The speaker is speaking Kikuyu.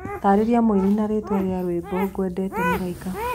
Taarĩrĩa mũĩnĩ na rĩĩtwa rĩa rwĩmbo nĩngwendete mũraĩka